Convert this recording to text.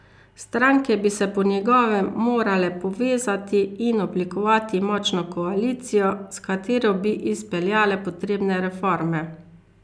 Stranke bi se po njegovem morale povezati in oblikovati močno koalicijo, s katero bi izpeljale potrebne reforme.